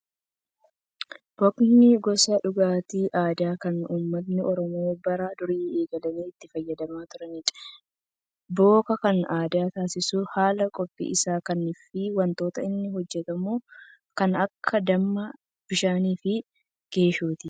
Bookni gosa dhugaatii aadaa kan uummatni oromoo bara durii eegalee itti fayyadamaa turanidha. Booka kan adda taasisu haala qophii isaa kan fi wantoota inni hojjatamus kan akka dammaa, bishaanii fi geeshooti.